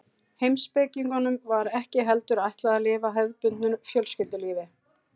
Heimspekingunum var ekki heldur ætlað að lifa hefðbundnu fjölskyldulífi.